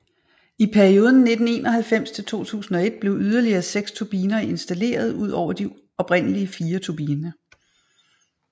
I perioden fra 1991 til 2001 blev yderligere seks turbiner installeret ud over de oprindelige fire turbiner